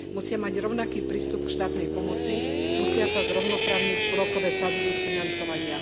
Musia mať rovnaký prístup k štátnej pomoci, musia sa zrovnoprávniť úrokové sadzby ich financovania.